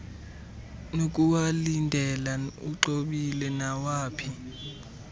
nokuwalindela uxhobile nawaphi